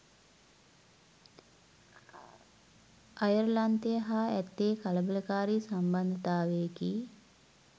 අයර්ලන්තය හා ඇත්තේ කලබලකාරී සම්බන්ධතාවයකි